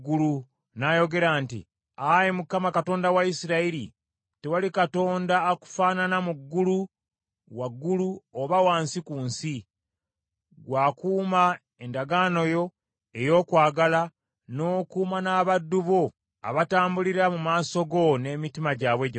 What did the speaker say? n’ayogera nti, “Ayi Mukama Katonda wa Isirayiri, tewali Katonda akufaanana mu ggulu waggulu oba wansi ku nsi, gwe akuuma endagaano yo ey’okwagala n’okuuma n’abaddu bo abatambulira mu maaso go n’emitima gyabwe gyonna.